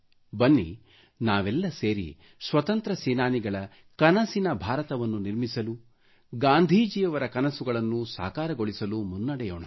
ಬನ್ನಿ ನಾವೆಲ್ಲ ಸೇರಿ ಸ್ವತಂತ್ರ ಸೇನಾನಿಗಳ ಕನಸಿನ ಭಾರತವನ್ನು ನಿರ್ಮಿಸಲು ಗಾಂಧಿಜಿಯವರ ಕನಸುಗಳನ್ನು ಸಾಕಾರಗೊಳಿಸಲು ಮುನ್ನಡೆಯೋಣ